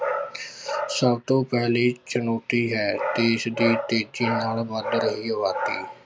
ਸਭ ਤੋਂ ਪਹਿਲੀ ਚੁਣੋਤੀ ਹੈ ਦੇਸ ਦੀ ਤੇਜੀ ਨਾਲ ਵੱਧ ਰਹੀ ਆਬਾਦੀ